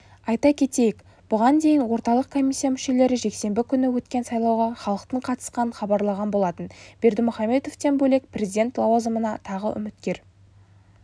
айта кетейік бұған дейін орталық комиссия мүшелері жексенбі күні өткен сайлауға халықтың қатысқанын хабарлаған болатын бердімұхамедовтан бөлек президент лауазымына тағы үміткер